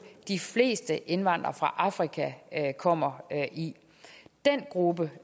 de fleste indvandrere fra afrika kommer i den gruppe